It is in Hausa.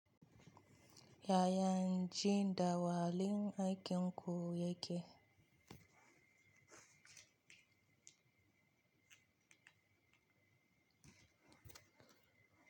Yayan ji, "Dawa lin aikin ku yake."